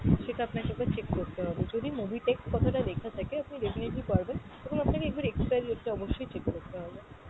সেটা আপনাকে একবার check করতে হবে। যদি mobitech কথাটা লেখা থাকে আপনি definitely পারবেন , এবং আপনাকে একবার expiry date টা অবশ্যই check করতে হবে।